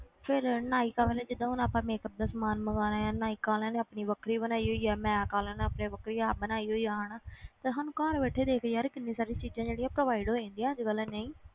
ਫਿਰ ਨਾਇਕਾ ਵਾਲੇ ਜਿੱਦਾਂ ਹੁਣ ਆਪਾਂ makeup ਦਾ ਸਮਾਨ ਮੰਗਵਾਉਣਾ ਹੈ ਨਾਇਕਾ ਵਾਲਿਆਂ ਨੇ ਆਪਣੀ ਵੱਖਰੀ ਬਣਾਈ ਹੋਈ ਹੈ, ਮੈਕ ਵਾਲਿਆਂ ਨੇ ਆਪਣੀ ਵੱਖਰੀ app ਬਣਾਈ ਹੋਈ ਹੈ ਹਨਾ ਤੇ ਸਾਨੂੰ ਘਰ ਬੈਠੇ ਦੇਖ ਯਾਰ ਕਿੰਨੀ ਸਾਰੀ ਚੀਜ਼ਾਂ ਜਿਹੜੀਆਂ provide ਹੋ ਜਾਂਦੀਆਂ ਅੱਜ ਕੱਲ੍ਹ ਨਹੀਂ,